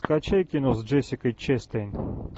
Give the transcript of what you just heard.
скачай кино с джессикой честейн